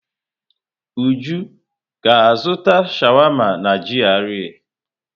Uju ga-azụta sháwámá n'GRA?